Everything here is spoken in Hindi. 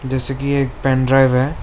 जिस की एक पेन ड्राइव है।